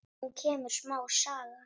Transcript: Nú kemur smá saga.